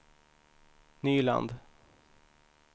Nyland